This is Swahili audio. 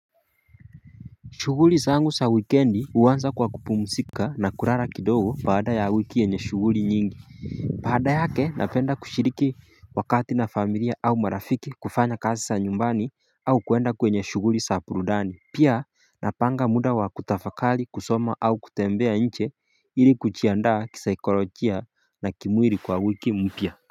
Shughuli zangu sa wikendi uanza kwa kupumsika na kurara kidogo baada ya wiki enye shughuri nyingi baada yake napenda kushiriki wakati na familia au marafiki kufanya kazi za nyumbani au kuenda kwenye shughuri sa purudani Pia napanga muda wa kutafakali kusoma au kutembea nche ili kuchiandaa kisaikolojia na kimwili kwa wiki mpia.